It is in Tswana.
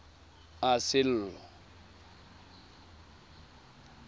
sello